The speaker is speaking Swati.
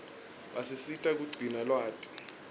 basisita kugcina lwati